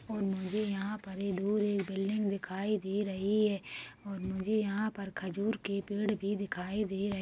और मुझे यहाँ पर बड़ी दूर एक बिल्डिंग दिखाई दे रही हैं और मुझे यहाँ पर खजूर के पेड़ भी दिखाई दे रहे --